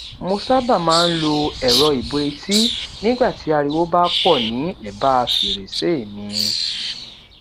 mo sábà máa n lọ ẹroibo etí nígbà tí ariwo bá pò ní ẹbá fèrèsé mi